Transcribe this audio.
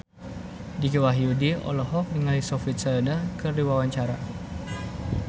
Dicky Wahyudi olohok ningali Sophie Turner keur diwawancara